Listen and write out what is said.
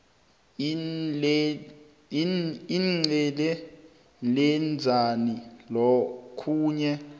iicd lenzani lokhuya